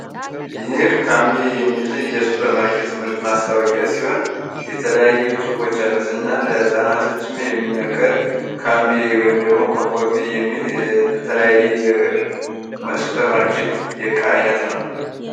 ይህ ካምቢ የሚል የሱፐርማርኬት ምርት ማስታወቂያ ሲሆን የተለያዩ ጽሑፎች አሉት እና ለሕፃናቶችም የሚመከር ካምቢ ወይም ደግሞ ኮምፎርት ቢት የሚል የተለያየ ሱፐርማርኬት የቃይነት ነው።